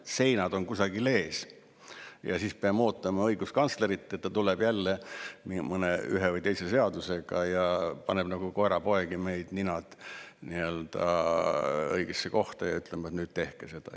peame ootama õiguskantslerit, et ta tuleb jälle ühe või teise seadusega ja paneb meil nagu koerapoegadel ninad nii-öelda õigesse kohta ja ütleb, et nüüd tehke seda.